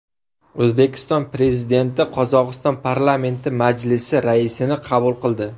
O‘zbekiston Prezidenti Qozog‘iston Parlamenti Majlisi raisini qabul qildi.